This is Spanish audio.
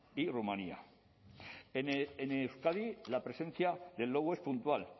y rumania en euskadi la presencia del lobo es puntual